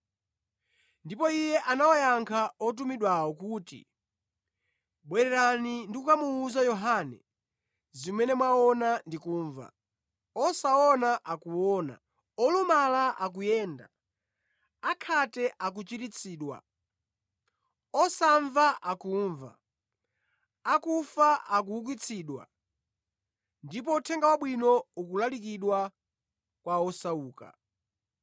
Ndipo Iye anawayankha otumidwawo kuti, “Bwererani ndi kukamuwuza Yohane zimene mwaona ndi kumva: Osaona akuona, olumala akuyenda, akhate akuchiritsidwa, osamva akumva, akufa akuukitsidwa, ndipo Uthenga Wabwino ukulalikidwa kwa osauka.